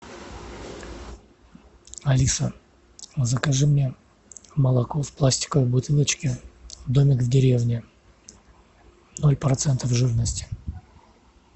алиса закажи мне молоко в пластиковой бутылочке домик в деревне ноль процентов жирности